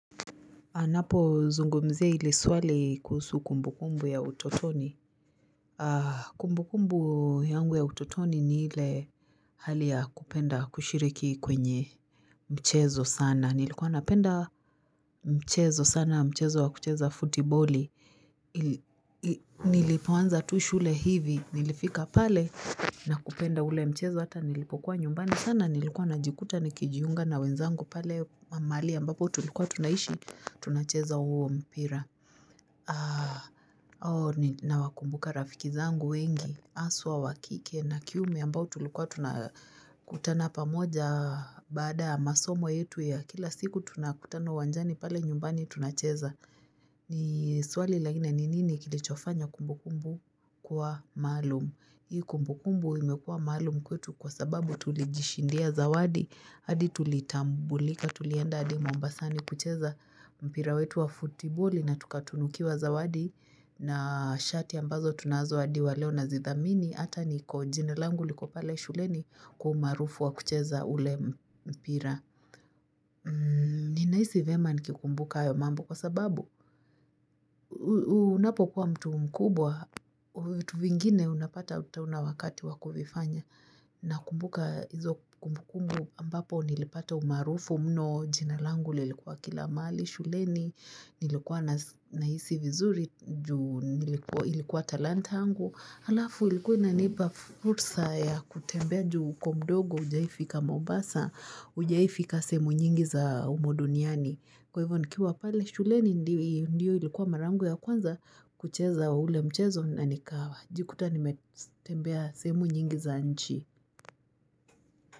Anapo zungumzia ili swali kuhusu kumbu kumbu ya utotoni. Kumbu kumbu yangu ya utotoni ni ile hali ya kupenda kushiriki kwenye mchezo sana. Nilikuwa napenda mchezo sana mchezo wa kucheza futiboli. Nilipoanza tu shule hivi. Nilifika pale na kupenda ule mchezo hata nilipokuwa nyumbani. Sana nilikuwa najikuta ni kijiunga na wenzangu pale mahali ambapo tulikuwa tunaishi tunacheza huo mpira. Nawakumbuka rafiki zangu wengi, aswa wa kike na kiume ambao tulikuwa tunakutana pamoja baada masomo yetu ya kila siku tunakutana uwanjani pale nyumbani tunacheza. Ni swali lakini ni nini kilichofanya kumbukumbu kuwa maalum. Hii kumbukumbu imekuwa maalum kwetu kwa sababu tulijishindia zawadi, hadi tulitambulika tulienda adi mombasani kucheza mpira wetu wa futiboli na tukatunukiwa zawadi na shati ambazo tunazo adi wa leo na zithamini, hata ni kojina langu liko pale shuleni kwa umaarufu wa kucheza ule mpira. Ni naisi vema nikikumbuka ayo mambo kwa sababu Unapo kuwa mtu mkubwa Tuvingine unapata ata hauna wakati wa kuvifanya na kumbuka hizo kumbukumbu ambapo nilipata umarufu mno jinalangu lilikuwa kila mahali shuleni Nilikuwa naisi vizuri juu ilikuwa talanta yangu Halafu ilikuwa ina nipa furusa ya kutembea juu uko mdogo ujaifika mobasa Ujaifika sehemu nyingi za umuduniani Kwa hivyo nikiwa pale shuleni ndiyo ilikuwa mara yangu ya kwanza kucheza ule mchezo na nikawa Jikuta nimetembea sehemu nyingi za nchi.